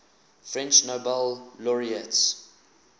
french nobel laureates